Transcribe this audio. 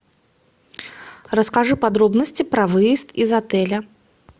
расскажи подробности про выезд из отеля